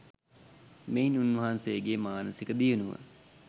මෙයින් උන්වහන්සේගේ මානසික දියුණුව